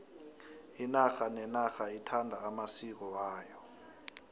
inarha nenarha ithanda amasiko ayo